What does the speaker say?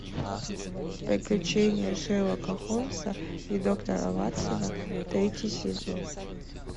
приключения шерлока холмса и доктора ватсона третий сезон